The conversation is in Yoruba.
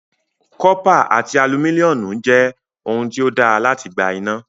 Cọ́pà àti alumíníọ̀mù jẹ́ ohun tí ó dáa láti gba iná.